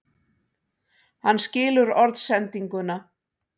Hann skilur orðsendinguna.